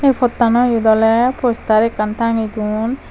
pottano eyot ole postar ekkan tange don.